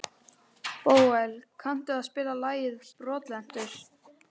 Bóel, kanntu að spila lagið „Brotlentur“?